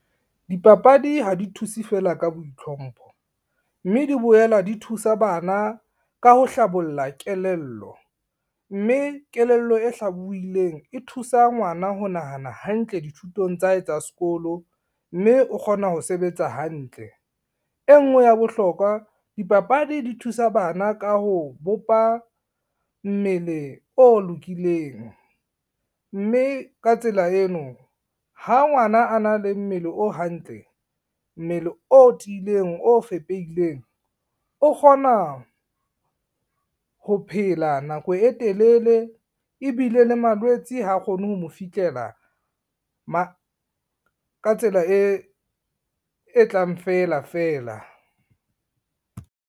Dipapadi ha di thuse fela ka boitlhompho mme di boela di thusa bana ka ho hlabolla kelello. Mme kelello e hlabuwileng e thusa ngwana ho nahana hantle dithutong tsa hae tsa sekolo mme o kgona ho sebetsa hantle. E ngwe ya bohlokwa dipapadi di thusa bana ka ho bopa mmele o lokileng, mme ka tsela eno ha ngwana a na le mmele o hantle, mmele o tiileng, o fepeileng, o kgona ho phela nako e telele ebile le malwetse ha kgone ho mo fihlela ka tsela e tlang fela fela.